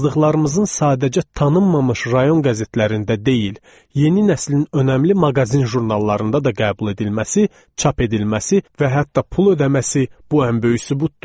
Yazdıqlarımızın sadəcə tanınmamış rayon qəzetlərində deyil, yeni nəslin önəmli maqazin jurnallarında da qəbul edilməsi, çap edilməsi və hətta pul ödəməsi bu ən böyük sübutdur.